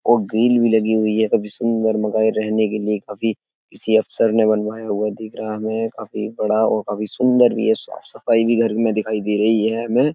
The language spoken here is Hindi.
और ग्रिल भी लगी हुई है काफी सुंदर मकान रहने के लिए काफी किसी अफसर ने बनवाया होगा दिख रहा है हमें। काफी बड़ा और काफी सुंदर भी साफ-सफाई भी घर में दिखाई दे रही है हमें।